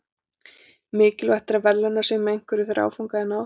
Mikilvægt er að verðlauna sig með einhverju þegar áfanga er náð.